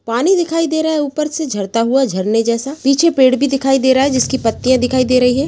पानी दिखाई दे रहा है ऊपर से झरता हुआ झरने जैसा पीछे पेड़ भी दिखाई दे रहा है जिसकी पत्तियां दिखाई दे रही है।